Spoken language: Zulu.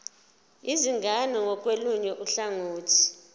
izingane ngakolunye uhlangothi